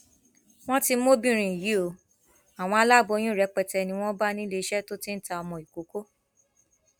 wọn ti mú obìnrin yìí ọ àwọn aláboyún rẹpẹtẹ ni wọn bá níléeṣẹ tó ti ń ta ọmọ ìkókó